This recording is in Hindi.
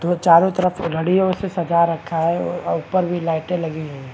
तो चारों तरफ घडियो से सजा रखा है औ और ऊपर भी लाइटे लगी हुई है।